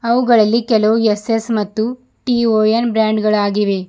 ಅವುಗಳಲ್ಲಿ ಕೆಲವು ಎಸ್_ಎಸ್ ಮತ್ತು ಟಿ_ಒ_ಎನ್ ಬ್ರಾಂಡ್ ಗಳಾಗಿವೆ.